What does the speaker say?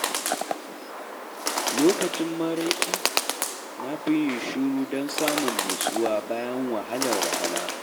Lokacin maraice, na fi yin shiru don samun nutsuwa bayan wahalar rana.